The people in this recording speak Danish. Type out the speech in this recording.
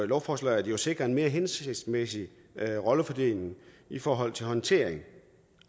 lovforslaget jo sikre en mere hensigtsmæssig rollefordeling i forhold til håndtering